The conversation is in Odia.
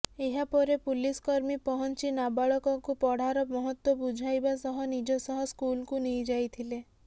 ଏହା ପରେ ପୁଲିସକର୍ମୀ ପହଞ୍ଚି ନାବାଳକକୁ ପଢ଼ାର ମହତ୍ୱ ବୁଝାଇବା ସହ ନିଜ ସହ ସ୍କୁଲକୁ ନେଇ ଯାଇଥିଲେ